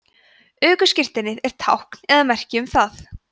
ökuskírteinið er tákn eða merki um það